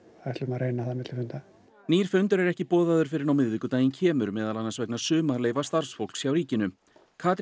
ætlum að reyna það milli funda nýr fundur er ekki boðaður fyrr en á miðvikudaginn kemur meðal annars vegna sumarleyfa starfsfólks hjá ríkinu Katrín